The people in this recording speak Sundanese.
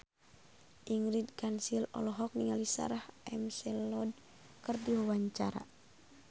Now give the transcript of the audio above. Ingrid Kansil olohok ningali Sarah McLeod keur diwawancara